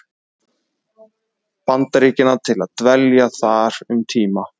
Bandaríkjanna til að dvelja þar um tíma.